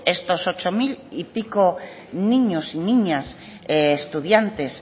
estos ocho mil y pico niños y niñas estudiantes